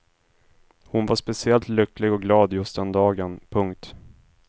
Hon var speciellt lycklig och glad just den dagen. punkt